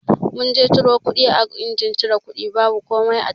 Mun je ciro kuɗi a injin cire kuɗi babu komai a ciki.